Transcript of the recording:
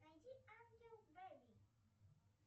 найди ангел бейби